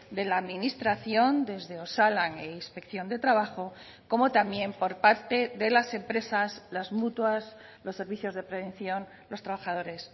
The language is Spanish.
de la administración desde osalan e inspección de trabajo como también por parte de las empresas las mutuas los servicios de prevención los trabajadores